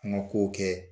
An ka kow kɛ